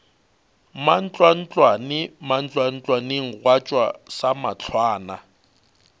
mantlwantlwane mantlwantlwaneng gwa tšwa samahlwana